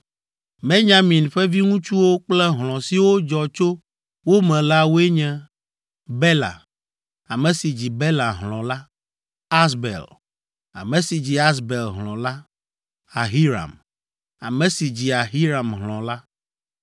Benyamin ƒe viŋutsuwo kple hlɔ̃ siwo dzɔ tso wo me la woe nye: Bela, ame si dzi Bela hlɔ̃ la, Asbel, ame si dzi Asbel hlɔ̃ la, Ahiram, ame si dzi Ahiram hlɔ̃ la,